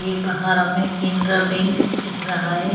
ये बाहर हमें केनरा बैंक दिख रहा है।